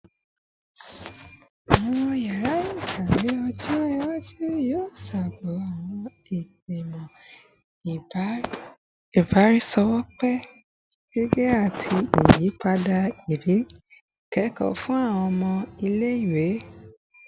Awọn yara ikawe ọjọ iwaju yoo ṣogo awọn igbimọ ibaraenisepo gige-eti, yiyipada iriri ikẹkọ fun awọn ọmọ ile-iwe